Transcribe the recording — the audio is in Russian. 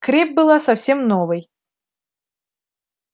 крепь была совсем новой